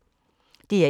DR1